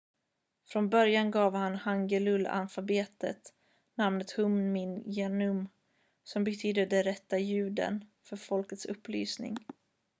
"från början gav han hangeul-alfabetet namnet hunmin jeongeum som betyder "de rätta ljuden för folkets upplysning"".